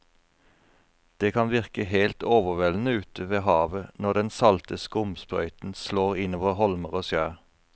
Det kan virke helt overveldende ute ved havet når den salte skumsprøyten slår innover holmer og skjær.